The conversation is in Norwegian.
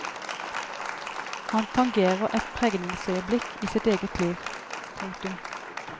Han tangerer et pregningsøyeblikk i sitt eget liv. punktum